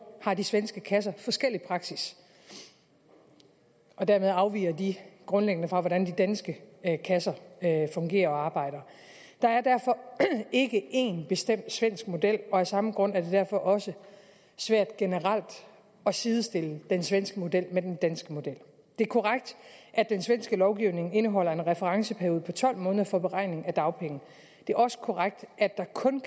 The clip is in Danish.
har de svenske kasser forskellig praksis og dermed afviger de grundlæggende fra hvordan de danske kasser fungerer og arbejder der er derfor ikke én bestemt svensk model og af samme grund er det derfor også svært generelt at sidestille den svenske model med den danske model det er korrekt at den svenske lovgivning indeholder en referenceperiode på tolv måneder for beregning af dagpenge det er også korrekt at der kun